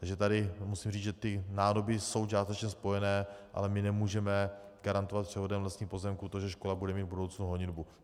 Takže tady musím říct, že ty nádoby jsou částečně spojené, ale my nemůžeme garantovat převodem vlastních pozemků to, že škola bude mít v budoucnu honitbu.